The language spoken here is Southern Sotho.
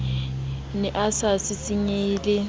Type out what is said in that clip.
ne a sa sisinyehe le